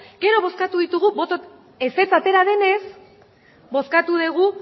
gero bozkatu ditugu ezetz atera denez bozkatu dugu